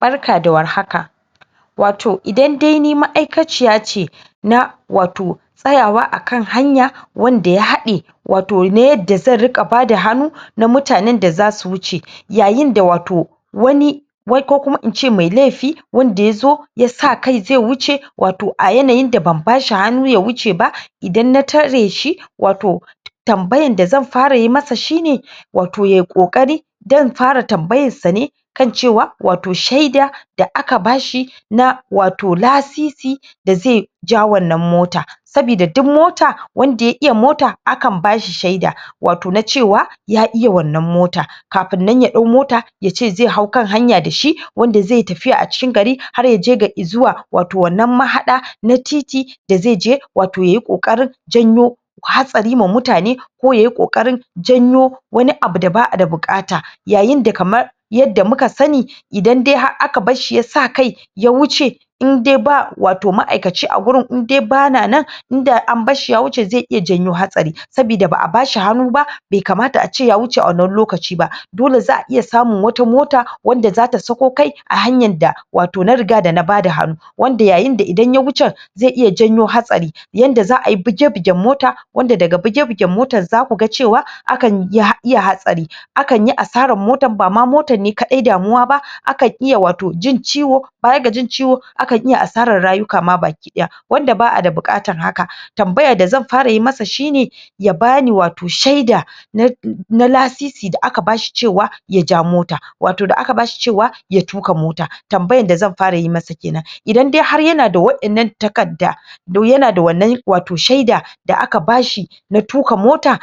Barka da war haka wato idan dai ni ma'aikaciya ce na wato tsayawa a kan hanya wanda ya haɗe wato na yanda zan riƙa bada hannu na mutanen da za su wuce yayin da wato wani wai ko kuma in ce mai laifi wanda ya zo ya sa kai zai wuce wato a yananyin da ban bashi hannu ya wuce ba idan na tare shi wato tambayan da zan fara yi masa shine wato yayi ƙoƙari dan in fara tambayan sa ne kan cewa wato shaida da aka bashi na wato lasisi da zai ja wannan mota sabida duk mota wanda ya iya mota a kan bashi shaida wato na cewa ya iya wannan motan kafin nan ya ɗau mota yace zai hau kan hanya dashi wanda zai tafiya cikin gari har yaje ga zuwa wato wannan mahaɗa na titi da zai je wato yayi ƙoƙarin janyo hatsari ma mutane ko yayi ƙoƙarin janyo wani abu da ba a da buƙata yayin da kamar yadda muka sani idan dai har aka barshi ya sa kai ya wuce in dai ba ma'aikaci a wurin in dai ba na nan in da an bar shi ya wuce zai iya jawo hatsari sabida ba a bashi hannu ba bai kamata a ce ya wuce a wannan lokaci ba dole za a iya samun wata mota wadda za ta sako kai a hanyar da wato na riga da an bada hannu wanda yayin da idan ya wuce zai iya janyo hatsari yadda za ai buge buegen mota wanda daga buge bugen motar za su ga cewa a kan iya hatsari a kan yi asarar motan ba ma motan ne kaɗai damuwa ba akan iya jin ciwo baya ga cin ciwo baya ga cin ciwo a kan iya asarar rayuka baki ɗaya ya wanda ba a da buƙatar haka tambayar da zan fara yi masa shine ya bani wato shaida na lasisi da aka bashi cewa ya ja mota wato da aka bashi cewa ya tuƙa mota tambayar da zan fara yi masa kenan idan har yana da waɗannan takarda duk yana da wannan wato shaida da aka bashi na tuƙa mota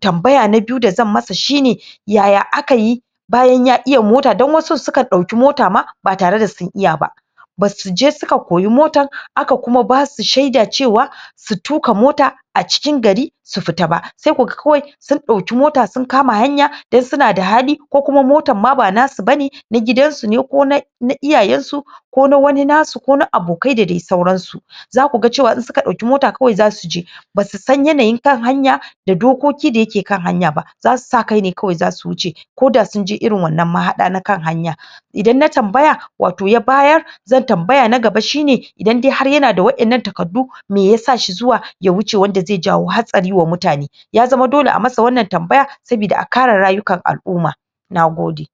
tambaya na biyu da zan masa shine yaya aka yi bayan ya iya mota don wasun su kan ɗauƙi mota ma ba tare da sun iya ba ba suje suka koyi motan aka kuma basu shaida cewa su tuƙa mota a cikin gari su fita ba sai kuga kawai sun ɗauki mota sun kama hanya don suna da hali ko kuma motan ma ba nasu bane na gidan su ne ko na iyayensu ko na wani nasu ko na abokai da dai sauran su za ku ga cewa in suka ɗauki mota kawai za su je ba su san yanayin kan hanya da dokoki da yake kan hanya ba za su sa kai ne za su wuce ko da sun je irin wannan mahaɗa na kan hanya idan na tambaya wato ya bayar zan tambaya na gaba shine idan dai har yana da waɗannan takardu me yasa shi zuwa ya wuce wanda zai jawo hatsari ga mutane ya zama dole ai masa wannan tambaya sabida a kare rayukan al'umma nagode